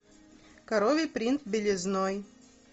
коровий принт белизной